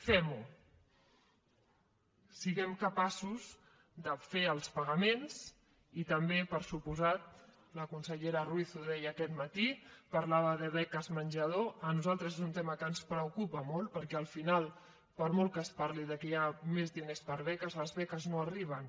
fem ho siguem capaços de fer els pagaments i també per descomptat la consellera ruiz ho deia aquest matí parlava de beques menjador a nosaltres és un tema que ens preocupa molt perquè al final per molt que es parli que hi ha més diners per beques les beques no arriben